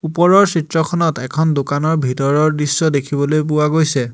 ওপৰৰ চিত্ৰখনত এখন দোকানৰ ভিতৰৰ দৃশ্য দেখিবলৈ পোৱা গৈছে।